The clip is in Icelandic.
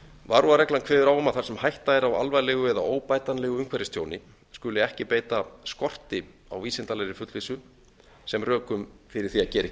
varúðarreglan kveður á um að þar sem hætta er á alvarlegu eða óbætanlegu umhverfistjóni skuli ekki skorti á vísindalegri fullvissu sem rökum fyrir því að gera ekki